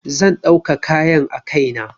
Zan ɗauka kayan a kai na.